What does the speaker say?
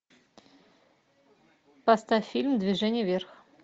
поставь фильм движение вверх